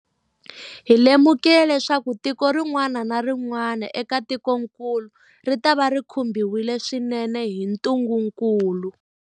Hi lemukile leswaku tiko rin'wana na rin'wana eka tikokulu ritava ri khumbiwile swinene hi ntungukulu.